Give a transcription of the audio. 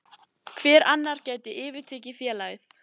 Hver annar gæti yfirtekið félagið?